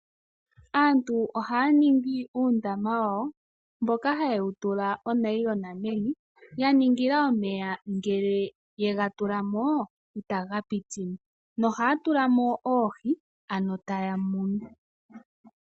Aantu ohaya ningi uundama wawo mboka haye wu tula onayilona meni, ya ningila omeya ngele yega tula mo itaga piti mo. Nohaya tula mo oohi, ano taya munu.